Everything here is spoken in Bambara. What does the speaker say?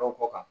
kɔ kan